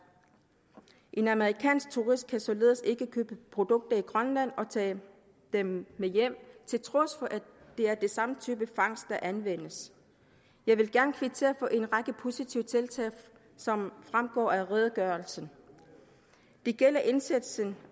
en amerikansk turist kan således ikke købe produkter i grønland og tage dem med hjem til trods for at det er den samme type fangst der anvendes jeg vil gerne kvittere for en række positive tiltag som fremgår af redegørelsen det gælder indsatsen